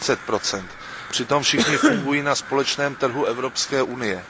40 Přitom všichni fungují na společném trhu Evropské unie.